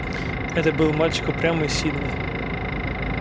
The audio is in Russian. это был мальчик упрямый и сильный